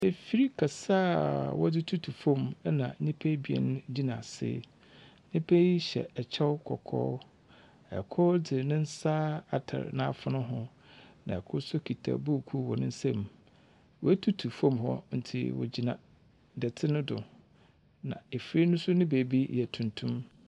Afir kɛse a wɔdze tutu fam na nnyipa abien gyina ase, nnyipa yi hyɛ kyɛw kɔkɔɔ. Kor dze ne nsa atar n'afon ho. Kor nso kita krataa wɔ ne nsam. Wɔatutu fam hɔ nti, wɔgyina dɛtse no do, na afir no nso ne beebi yɛ tuntum.